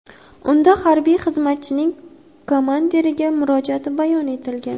Unda harbiy xizmatchining komandiriga murojaati bayon etilgan.